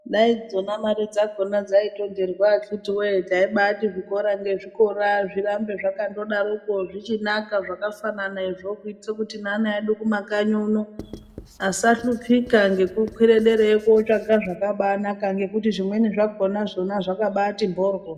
Dai dzona mare dzakhona dzaitonherwa akhiti woye taibati zvikora ngezvikora zvirambe zvakandodarokwo zvichinaka zvakafananazvonkuitira kuti neana edu kumakanyi uno asahlupika ngekukwire derayo kotsvaga zvakanaka ngekuti zvimweni zvakhona zvakabati mhoryo.